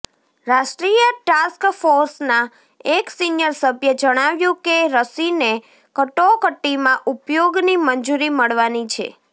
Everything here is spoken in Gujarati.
રાષ્ટ્રીય ટાસ્ક ફોર્સના એક સીનિયર સભ્યે જણાવ્યું કે રસીને કટોકટીમાં ઉપયોગની મંજૂરી મળવાની છે